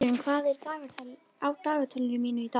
Dýrunn, hvað er á dagatalinu mínu í dag?